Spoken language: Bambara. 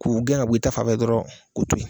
K'u gɛn ŋ'a bɔ i ta fanfɛ dɔrɔn k'u to ye